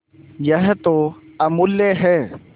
यह तो अमुल्य है